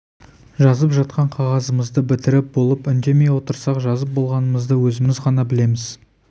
жазып жатқан қағазымызды бітіріп болып үндемей отырсақ жазып болғанымызды өзіміз ғана білеміз